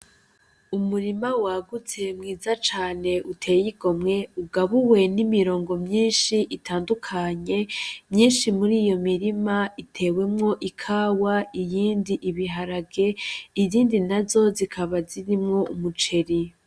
Umurima wagutse mwiza cane uteye igomwe, ugabubwe n'imirongo myinshi itandukanye ,myinshi muriyo mirima itewemwo ,ikawa, iyindi Ibiharage izindi nazo zikaba zirimwo umuceri.